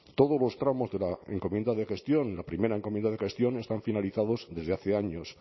todos los tramos de la encomienda de gestión en la primera encomienda de gestión están finalizados desde hace años